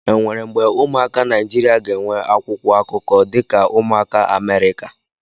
Enwere mgbe ụmụaka Naijiria ga-enwe akwụkwọ akụkọ dị ka ụmụaka Amerịka.